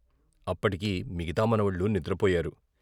అప్పటికి మిగతా మనవళ్లు నిద్రపోయారు.